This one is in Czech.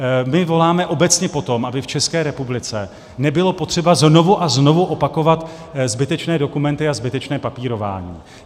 My voláme obecně po tom, aby v České republice nebylo potřeba znovu a znovu opakovat zbytečné dokumenty a zbytečné papírování.